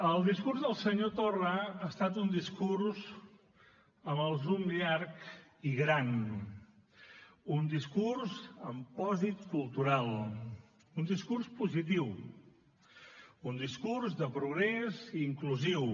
el discurs del senyor torra ha estat un discurs amb el zoom llarg i gran un discurs amb pòsit cultural un discurs positiu un discurs de progrés i inclusiu